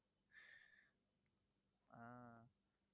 ஆஹ்